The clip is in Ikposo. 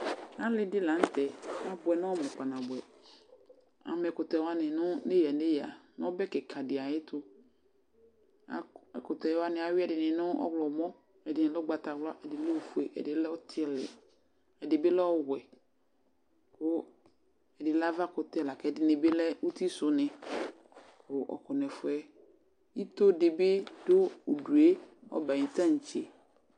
Alɩ dɩ la nʋ tɛ ,ta bʋɛ nɔmʋ kpanabʋɛ Ama ɛkʋtɛ wanɩ nʋ ,neyǝ–neyǝ nʋ ɔbɛ kɩka dɩ ayɛtʋ Akʋ ,ɛkʋtɛ wanɩ, ayʋɩ ɛdɩnɩ nʋ ɔɣlɔmɔ, ɛdɩnɩ dʋ ʋgbatawla ,ɛdɩ lɛ ofue, ɛdɩ lɛ ɔtɩlɩ ,ɛdɩ bɩ lɛ ɔwɛ Kʋ ɛdɩ lɛ avakʋtɛ lakɛdɩnɩ bɩ lɛ uti sʋ nɩ kʋ ɔkɔ nɛfʋɛ Ito dɩ bɩ dʋ udue , ɔbɛ ayʋ tatse